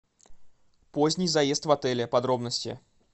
поздний заезд в отеле подробности